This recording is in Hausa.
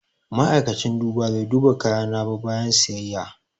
Ma'aikacin duba bai duba kayana ba bayan siyayya.